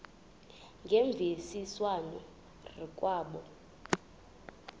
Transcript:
ngemvisiswano r kwabo